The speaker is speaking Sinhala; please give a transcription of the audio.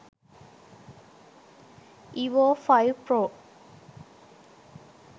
evo 5 pro